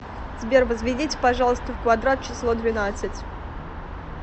сбер возведите пожалуйста в квадрат число двенадцать